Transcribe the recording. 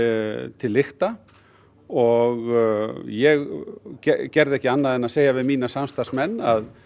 til lykta og ég gerði ekki annað en að segja við mína samstarfsmenn að